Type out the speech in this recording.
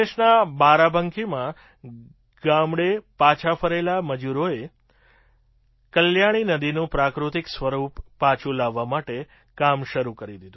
ઉત્તર પ્રદેશના બારાબંકીમાં ગામડે પાછા ફરેલા મજૂરોએ કલ્યાણીનદીનું પ્રાકૃતિક સ્વરૂપ પાછું લાવવા મટે કામ શરૂ કરી દીધું